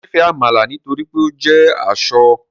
Mo nifẹ amala nitori pe o jẹ asọ